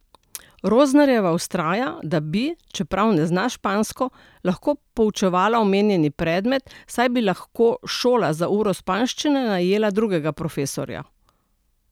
Rosnerjeva vztraja, da bi, čeprav ne zna špansko, lahko poučevala omenjeni predmet, saj bi lahko šola za uro španščine najela drugega profesorja.